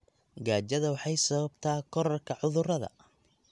Gaajada waxay sababtaa kororka cudurrada.